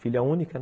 Filha única, né?